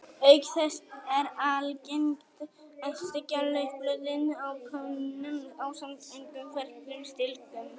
Auk þess er algengt að steikja laufblöðin á pönnu ásamt ungum ferskum stilkum.